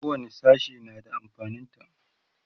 kowani sashe na da amfanin ta